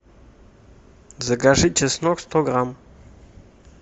закажи чеснок сто грамм